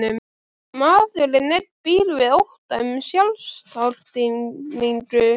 Maðurinn einn býr við ótta um sjálfstortímingu.